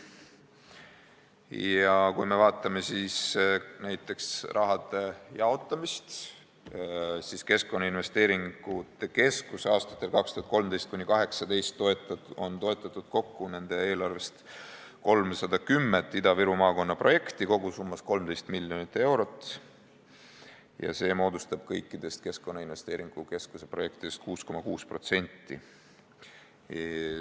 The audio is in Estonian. Aga kui me vaatame raha jaotamist, siis näeme, et Keskkonnainvesteeringute Keskus toetas aastatel 2013–2018 kokku oma eelarvest 310 Ida-Viru maakonna projekti, kogusummas 13 miljonit eurot, mis moodustab kõikidest Keskkonnainvesteeringute Keskuse projektidest 6,6%.